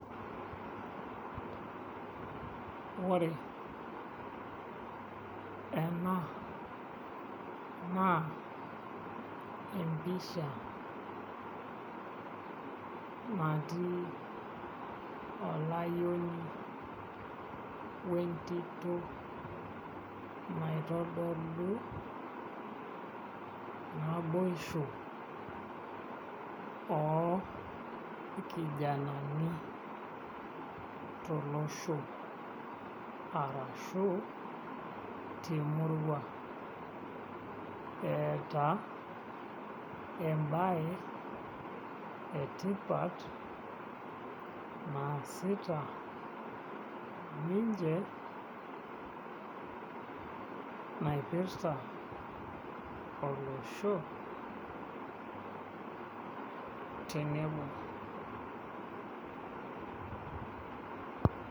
Ore ena naa empisha natii olayioni o entito naitodolu naboisho oo irkijanani tolosho temurua eeta embaye etipat naasita ninche naipirta olosho tenebo.